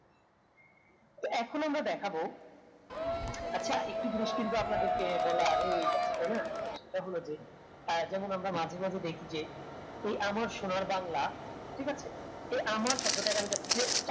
এখন আমরা দেখাবো আচ্ছা একটি জিনিস কিন্তু সম্পদের বলা হয়ে যায় তাইনা সেটা হলো যে যেমন আমরা মাঝে মাঝে দেখি যে এ আমার সোনার বাংলা ঠিক আছে যে আমার শব্দটা এখানে যাচ্ছে